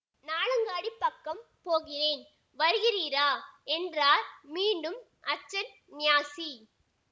நாளங்காடிப் பக்கம் போகிறேன் வருகிறீரா என்றார் மீண்டும் அச்சந்நியாசி